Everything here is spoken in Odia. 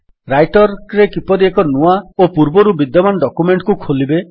ରାଇଟର୍ ରେ କିପରି ଏକ ନୂଆ ଓ ପୂର୍ବରୁ ବିଦ୍ୟମାନ ଡକ୍ୟୁମେଣ୍ଟ୍ କୁ ଖୋଲିବେ